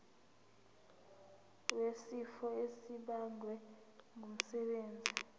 wesifo esibagwe ngumsebenzi